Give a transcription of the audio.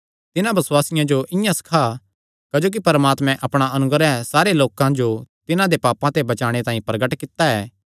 तिन्हां बसुआसियां जो इआं ई सखा क्जोकि परमात्मे अपणा अनुग्रह सारे लोकां जो तिन्हां दे पापां ते बचाणे तांई प्रगट कित्ता ऐ